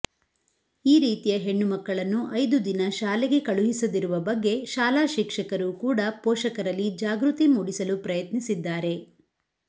ಈ ರೀತಿಯ ಹೆಣ್ಣುಮಕ್ಕಳನ್ನು ಐದು ದಿನ ಶಾಲೆಗೆ ಕಳುಹಿಸದಿರುವ ಬಗ್ಗೆ ಶಾಲಾ ಶಿಕ್ಷಕರು ಕೂಡ ಪೋಷಕರಲ್ಲಿ ಜಾಗೃತಿ ಮೂಡಿಸಲು ಪ್ರಯತ್ನಿಸಿದ್ದಾರೆ